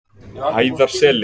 Hæðarseli